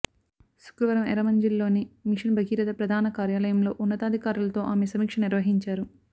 శుక్రవారం ఎర్రమంజిల్లోని మిషన్ భగీరథ ప్రధాన కార్యాలయంలో ఉన్నతాధికారులతో ఆమె సమీక్ష నిర్వహించారు